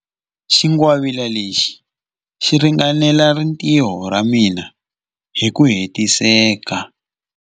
Xingwavila lexi xi ringanela rintiho ra mina hi ku hetiseka.